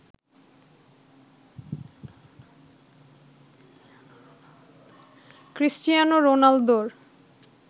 Cristiano রোনালদোর